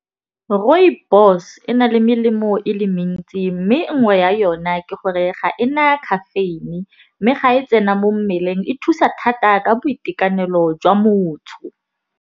Rooibos e na le melemo e le mentsi. Mme nngwe ya yona ke gore ga ena caffeine. Mme ga e tsena mo mmeleng e thusa thata ka boitekanelo jwa motho.